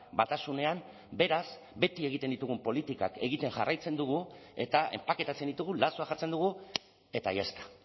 batasunean beraz beti egiten ditugun politikak egiten jarraitzen dugu eta enpaketatzen ditugu lazoa jartzen dugu eta ya está